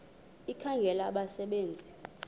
ekhangela abasebe nzi